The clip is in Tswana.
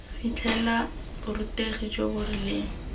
fitlhelela borutegi jo bo rileng